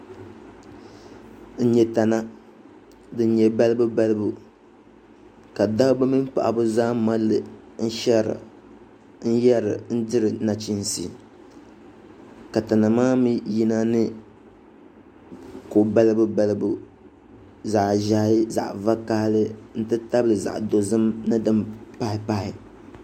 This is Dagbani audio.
Nyɛ tana din nyɛ balibubalibu ka dabba mini paɣaba zaa mali li shɛri n-diri nachinsi ka tana maa mi yina ni ko' balibubalibu zaɣ' ʒɛhi zaɣ' dɔzim nti tabili din kam pahipahi